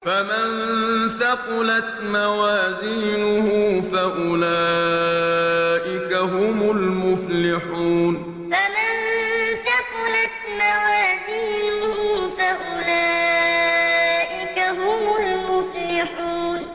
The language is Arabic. فَمَن ثَقُلَتْ مَوَازِينُهُ فَأُولَٰئِكَ هُمُ الْمُفْلِحُونَ فَمَن ثَقُلَتْ مَوَازِينُهُ فَأُولَٰئِكَ هُمُ الْمُفْلِحُونَ